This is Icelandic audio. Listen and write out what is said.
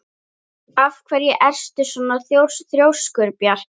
Af hverju ertu svona þrjóskur, Bjarki?